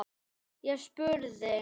Ég spurði.